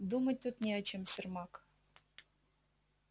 думать тут не о чем сермак